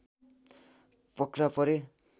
पक्राउ परे